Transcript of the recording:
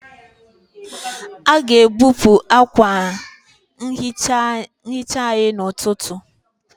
A ga-ebupụ akwa nhicha anyị n'ụtụtụ.